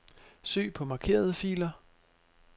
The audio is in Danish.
Søg på markerede filer.